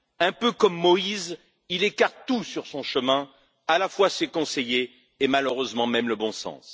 Un peu comme Moïse, il écarte tout sur son chemin, à la fois ses conseillers et, malheureusement, même le bon sens.